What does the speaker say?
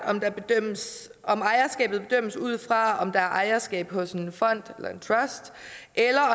om ejerskabet bedømmes ud fra om der er ejerskab hos en fond eller en trust eller